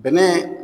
Bɛnɛ